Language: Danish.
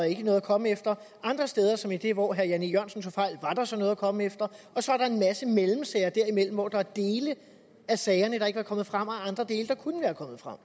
ikke er noget at komme efter andre steder som i det hvor herre jan e jørgensen tog fejl var der så noget at komme efter og så er der en masse mellemsager der imellem hvor der er dele af sagerne der ikke ville være kommet frem og andre dele der kunne være kommet frem